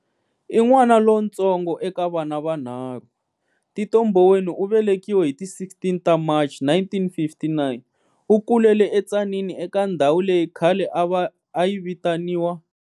I n'wana lontsongo eka vana vanharhu, Tito Mboweni u velekiwe hi ti 16 ta Machi 1959. U kulele eTzaneen eka ndhawu leyi khale a yi vitaniwa.